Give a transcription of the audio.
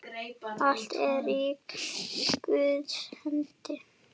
Allt er í Guðs hendi.